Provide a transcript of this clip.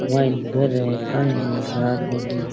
मायने घर काई है ध्यान कोनी --